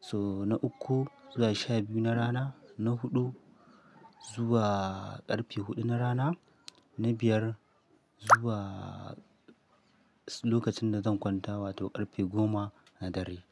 sau na uku zuwa sha biyu na rana, na huɗu zuwa ƙarfe huɗu na rana, na biyar zuwa lokacin da zan kwanta wato ƙarfe goma na dare.